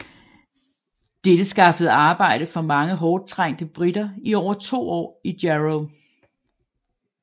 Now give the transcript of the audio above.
Dette skaffede arbejde for mange hårdt trængte briter i over 2 år i Jarrow